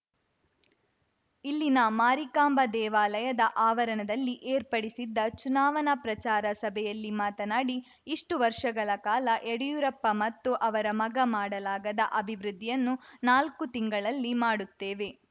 ಇಲ್ಲಿನ ಮಾರಿಕಾಂಬ ದೇವಾಲಯದ ಆವರಣದಲ್ಲಿ ಏರ್ಪಡಿಸಿದ್ದ ಚುನಾವಣಾ ಪ್ರಚಾರ ಸಭೆಯಲ್ಲಿ ಮಾತನಾಡಿ ಇಷ್ಟುವರ್ಷಗಳ ಕಾಲ ಯಡಿಯೂರಪ್ಪ ಮತ್ತು ಅವರ ಮಗ ಮಾಡಲಾಗದ ಅಭಿವೃದ್ಧಿಯನ್ನು ನಾಲ್ಕು ತಿಂಗಳಲ್ಲಿ ಮಾಡುತ್ತೇವೆ